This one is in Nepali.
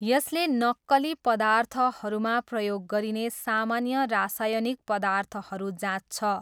यसले नक्कली पदार्थहरूमा प्रयोग गरिने सामान्य रासायनिक पदार्थहरू जाँच्छ।